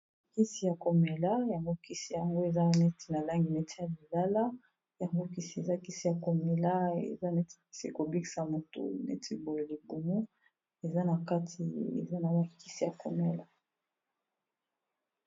Kisi ya komela yango kisi yango eza neti na langi neti ya lilala yango kisi eza kisi ya komela eza neti kisi kobikisa motu neti boye libumu eza na kati eza na bakisi ya komela.